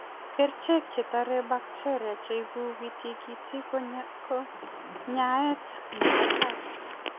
Kerichek chetare bacteria chebube tikitik ko kanyaet nebo tai.